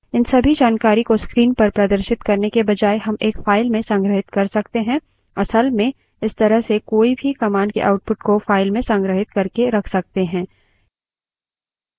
इन सभी जानकारी को screen पर प्रदर्शित करने के बजाय हम एक file में संग्रहित कर सकते हैं असल में इस तरह से कोई भी command के output को file में संग्रहित करके रख सकते हैं